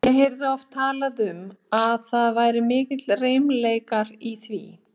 Ég heyrði oft talað um að það væru miklir reimleikar í því.